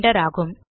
render ஆகும்